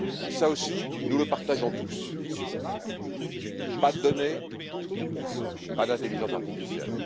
Cela aussi, nous le partageons tous pas de données, pas d'intelligence artificielle.